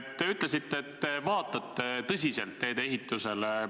Te ütlesite, et te vaatate tõsiselt teede ehitusele.